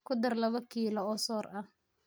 ku dar laba kilo oo soor ah,